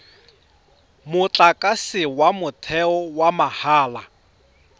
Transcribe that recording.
motlakase wa motheo wa mahala